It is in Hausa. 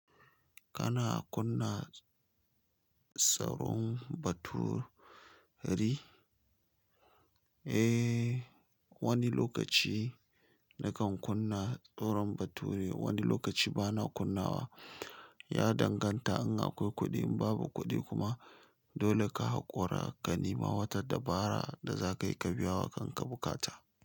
Kana kunna tsaron baturi? Eh wani lokaci nakan kunna tsaron baturi wani lokaci ba na kunna wa ya danganta in akwai kuɗi, in babu kuɗi kuma dole ka haƙura ka nima wata dabara da zaka yi ka biya wa kan ka buƙata.